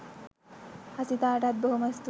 හසිතාටත් බොහොම ස්තූතියි.